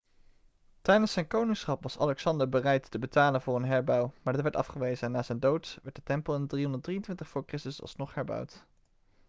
tijdens zijn koningschap was alexander bereid te betalen voor een herbouw maar dit werd afgewezen na zijn dood werd de tempel in 323 voor christus alsnog herbouwd